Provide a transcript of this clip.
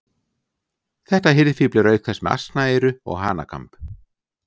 Þetta hirðfífl er auk þess með asnaeyru og hanakamb.